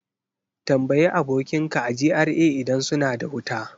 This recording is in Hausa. Tambayi abokinka a GRA idan suna da wuta!